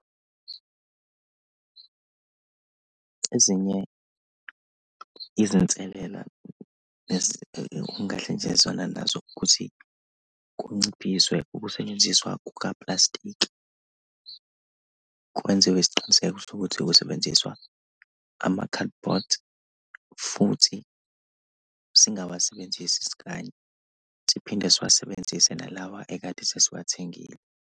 Ezinye izinselela nazo ukuthi kunciphiswe ukusetshenziswa kuka plastiki. Kwenziwe isiqiniseko sokuthi kusebenziswa amakhalibhothi, futhi singawasebenzisi isikanye. Siphinde siwasebenzise nalawa ekade sesiwathengile.